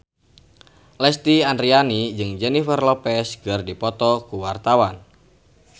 Lesti Andryani jeung Jennifer Lopez keur dipoto ku wartawan